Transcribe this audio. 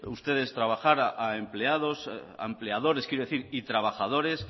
ustedes trabajar a empleadores y trabajadores